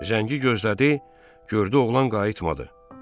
Zəngi gözlədi, gördü oğlan qayıtmadı.